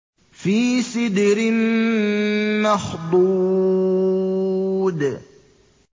فِي سِدْرٍ مَّخْضُودٍ